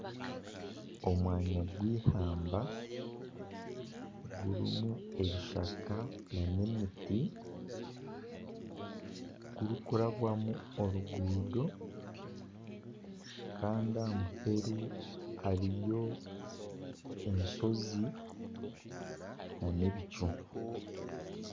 Omwanya gwihamba gurimu ebishaka nana emiti gurikurambwamu oruguuto kandi aha muheru hariyo enshozi nana ebicu